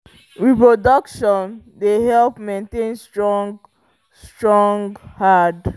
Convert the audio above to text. reproduction dey help maintain strong strong herd